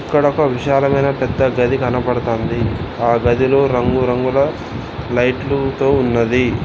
ఇక్కడ ఒక విశాలమైన పెద్ద గది కనబడతాంది ఆ గదిలో రంగురంగుల లైట్లు తో ఉన్నది.